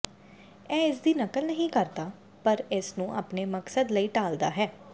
ਇਹ ਇਸ ਦੀ ਨਕਲ ਨਹੀਂ ਕਰਦਾ ਪਰ ਇਸਨੂੰ ਆਪਣੇ ਮਕਸਦ ਲਈ ਢਾਲ਼ਦਾ ਹੈ